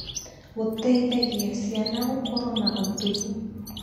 Gũteithagia ciana gũkorwo na ũtungi.